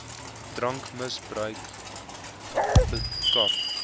drankmis bruik bekamp